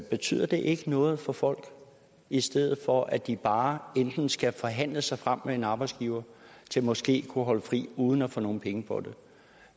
betyder det ikke noget for folk i stedet for at de bare skal forhandle sig frem med en arbejdsgiver til måske at kunne holde fri uden at få nogle penge for